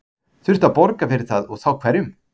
Þurfti að borga fyrir það og þá hverjum?